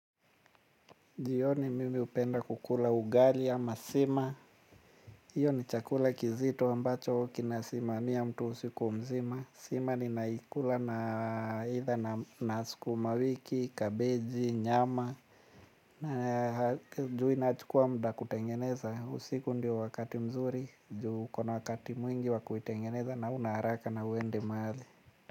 Jioni mimi hupenda kukula ugali ama sima. Iyo ni chakula kizito ambacho kina sima. Hiyo ni chakula kizito ambacho kina sima. Sima ninaikula na either na sukumawiki kabeji nyama na juu inachukuwa muda kutengeneza. Usiku ndio wakati mzuri. Juu ukona wakati mwingi wa kuitengeneza na huna haraka na huende mahali.